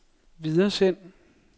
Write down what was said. videresend